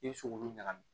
I bɛ se k'olu ɲagami